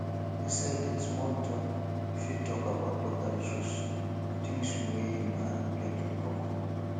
inside di small talk you fit talk about local issues and things wey una get in common